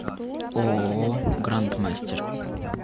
ооо гранд мастер